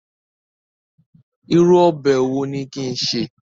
Irú ọbẹ̀ wo ni kin ṣè?